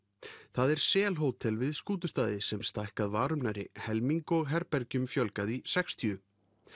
það er sel Hótel við Skútustaði sem stækkað var um nærri helming og herbergjum fjölgað í sextíu